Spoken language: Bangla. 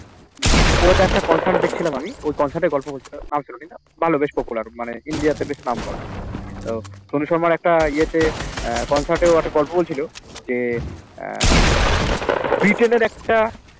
ওইটা একটা concert দেখছিলাম আমি ওই concert র গল্প বলছিল ভালো বেশ popular মানে India তে বেশ নাম করা তো সনু শর্মার একটা ইয়েতে আহ concert এ ও একটা গল্প বলছিল যে আহ ব্রিটেনের একটা